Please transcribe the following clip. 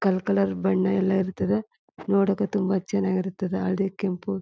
ಕಲ್ ಕಲರ್ ಬಣ್ಣ ಎಲ್ಲ ಇರುತದ ನೋಡಾಕ ತುಂಬಾ ಚನ್ನಾಗ್ ಇರ್ತದ ಹಳ್ದಿ ಕೆಂಪು.--